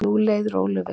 Nú leið Rolu vel.